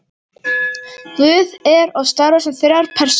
guð er og starfar sem þrjár persónur